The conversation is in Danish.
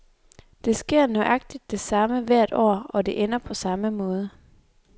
Der sker nøjagtig det samme hvert år, og det ender på samme måde.